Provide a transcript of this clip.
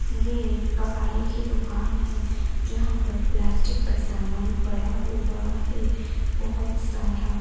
ये एक कबाड़ी की दुकान है जहां पर प्लास्टिक का सामान पड़ा हुआ है बहोत सारा--